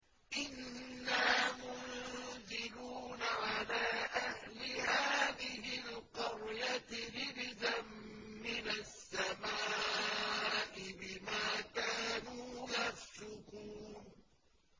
إِنَّا مُنزِلُونَ عَلَىٰ أَهْلِ هَٰذِهِ الْقَرْيَةِ رِجْزًا مِّنَ السَّمَاءِ بِمَا كَانُوا يَفْسُقُونَ